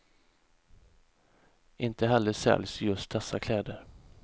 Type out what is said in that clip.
Inte heller säljs just dessa kläder.